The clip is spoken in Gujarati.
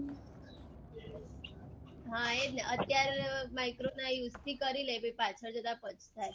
હા એજ ને અત્યારે micro ના use થી કરીલે પહી પાછળ જતા પસ્તાય